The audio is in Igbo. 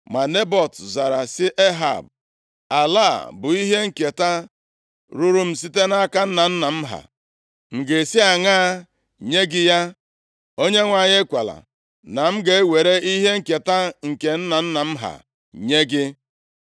Ma Nebọt zara sị Ehab, “Ala a bụ ihe nketa ruuru m site nʼaka nna nna m ha. M ga-esi aṅaa nye gị ya. Onyenwe anyị ekwela na m ga-ewere ihe nketa nke nna nna m ha nye gị.”